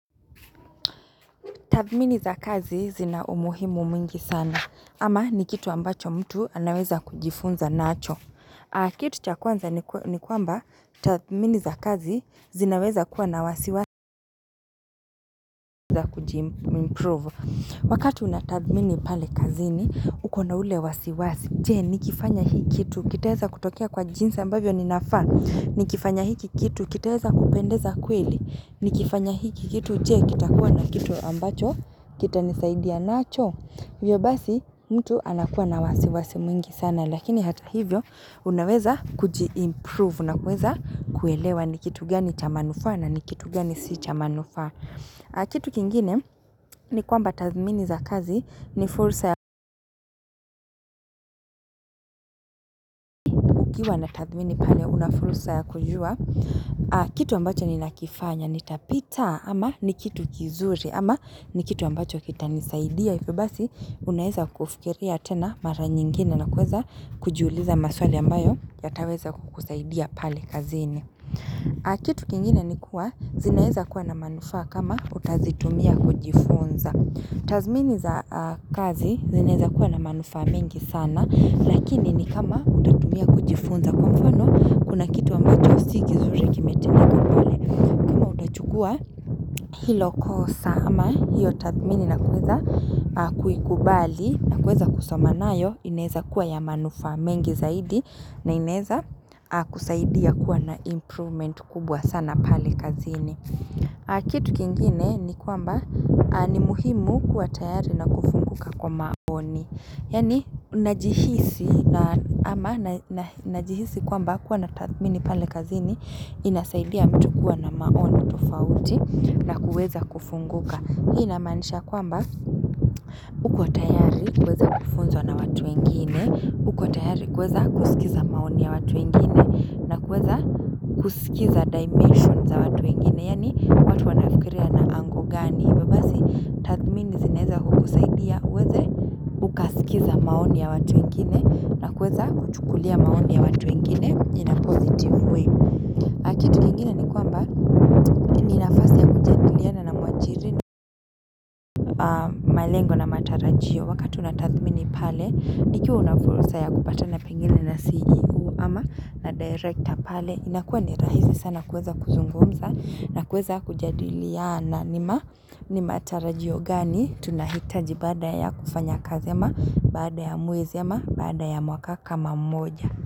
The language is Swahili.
Tathimini za kazi, zina umuhimu mwingi sana. Ama ni kitu ambacho, mtu anaweza kujifunza nacho. A Kitu cha kwanza ni kwa, ni kwamba, tathimini za kazi zinaweza kuwa na wasiwa za kujim improve. Wakati una tathimini pale kazini, uko na ule wasiwasi. Je, nikifanya hii kitu. Kitaweza kutokea kwa jinsi ambavyo ninafaa. Nikifanya hiki kitu. Kitaweza kupendeza kweli. Nikifanya hiki kitu. Je, kitakuwa na kitu ambacho kita nisaidia nacho. Hivyo basi mtu anakuwa na wasiwasi mwingi sana, lakini hata hivyo unaweza kujiimprove na kuweza kuelewa ni kitu gani cha manufaa, na ni kitu gani si cha manufaa. Aa Kitu kingine, ni kwamba tathimini za kazi ni furusa ya kukiwa na tathimini pale una furusa ya kujua. Aa Kitu ambacho ni nakifanya nitapita? Ama ni kitu kinzuri? Ama ni kitu ambacho kita nisaidia?. Hivyo basi, unaweza kufikiria tena mara nyingine na kuweza kujuliza maswali ambayo yataweza kukusaidia pale kazini. Ah, kitu kingine ni kuwa, zinaweza kuwa na manufaa kama, utazitumia kujifunza. Tazmini za a kazi, zinaweza kuwa na manufaa mengi sana, lakini ni kama utatumia kujifunza kwa mfano, kuna kitu ambacho si kinzuri kimetendeka pale. Kam utachukua Hilo kosa, ama hiyo tathimini na kuweza a kuikubali na kuweza kusoma nayo inaeza kuwa ya manufaa mengi zaidi na inaeza a kusaidia kuwa na improvement kubwa sana pale kazini. Kitu kingine ni kwamba, a ni muhimu kuwa tayari na kufunguka kwa maoni. Yani najihisi na ama na na najihisi kwamba kuwa na tathimini pale kazini. Inasaidia mtu kuwa na maoni tofauti na kuweza kufunguka. Hii ina maanisha kwamba, uko tayari kuweza kufunzwa na watu wengine. Uko tayari kuweza kusikiza maoni ya watu wengine. Na kuweza kusikiza dimensions za watu wengine. Yani watu wanafikiria na ago gani?. Hivyo basi tathimini zinaweza kukusaidia uweze Ukasikiza maoni ya watu wingine. Na kuweza kuchukulia maoni ya watu wengine. In a positive way. A kitu kingine ni kwamba ni nafasi ya kujadiliana na Mwajiri rajio wakati unatathimini pale. Ikiwa unafurusa ya kupatana pengine na CEO. Ama na Director pale. Inakuwa ni rahisi sana kuweza kuzungumza. Na kuweza kujadiliana. Nima Nimatarajio gani?. Tunahitaji baada ya kufanya kazi ama. Baada ya mwezi ama. Baada ya mwaka kama moja.